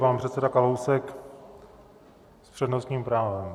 Pan předseda Kalousek s přednostním právem.